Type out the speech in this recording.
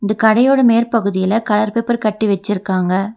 கடையோட மேற்பகுதியில colour paper கட்டி வெச்சிருக்காங்க.